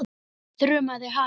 þrumaði hann.